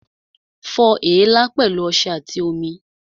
Fọ èélá pẹ̀lú ọṣẹ àti omi